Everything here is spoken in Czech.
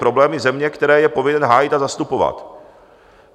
Problémy země, které je povinen hájit a zastupovat.